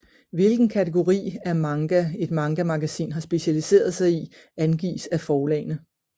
Hvilken kategori af manga et mangamagasin har specialiseret sig i angives af forlagene